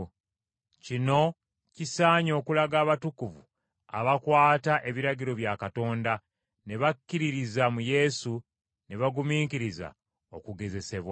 Kino kisaanye okulaga abatukuvu abakwata ebiragiro bya Katonda ne bakkiririza mu Yesu ne bagumiikiriza okugezesebwa.”